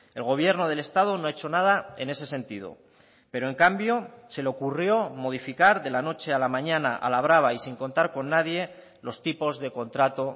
el gobierno del estado no ha hecho nada en ese sentido pero en cambio se le ocurrió modificar de la noche a la mañana a la brava y sin contar con nadie los tipos de contrato